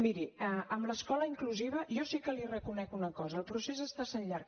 miri amb l’escola inclusiva jo sí que li reconec una cosa el procés està sent llarg